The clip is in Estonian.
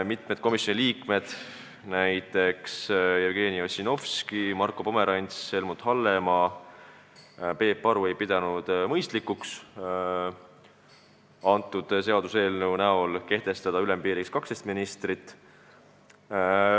Mitmed komisjoni liikmed, näiteks Jevgeni Ossinovski, Marko Pomerants, Helmut Hallemaa ja Peep Aru, ei pidanud mõistlikuks kehtestada ülempiiriks 12 ministrit.